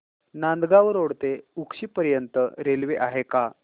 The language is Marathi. नांदगाव रोड ते उक्षी पर्यंत रेल्वे आहे का